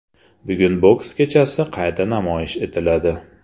Bugun boks kechasi qayta namoyish etiladi.